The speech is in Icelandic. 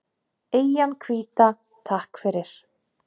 Eyjan hvíta, takk fyrir.